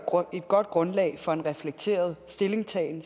godt grundlag for en reflekteret stillingtagen